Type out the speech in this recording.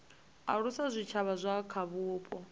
alusa zwitshavha zwa kha vhupo